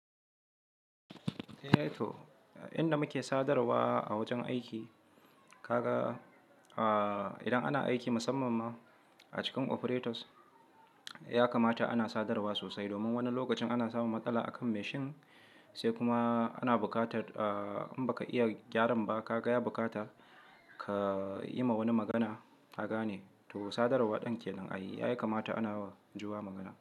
Eh, to inda muke sadarwa a wajen aiki, kaka idan ana aiki musamman ma a cikin operators, ya kamata ana sadarwa sosai. Domin wani lokacin ana samun matsala akan machine sai kuma ana bukata in baka iya gyaran ba ka gaya bukata, ka yi ma wani magana ka gane. To sadarwa ɗin ke nan ay. Ya kamata ana juwa magana.